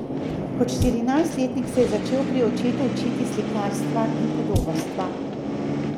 Kot štirinajstletnik se je začel pri očetu učiti slikarstva in podobarstva.